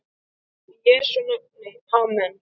Í Jesú nafni amen.